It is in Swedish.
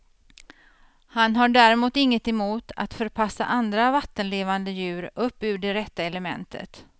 Han har däremot inget emot att förpassa andra vattenlevande djur upp ur det rätta elementet.